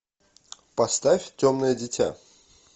поставь темное дитя